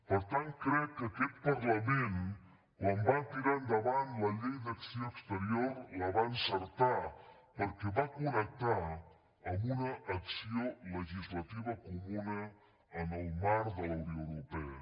per tant crec que aquest parlament quan va tirar endavant la llei d’acció exterior la va encertar perquè va connectar amb una acció legislativa comuna en el marc de la unió europea